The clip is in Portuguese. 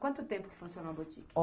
Quanto tempo que funcionou a botiquinha?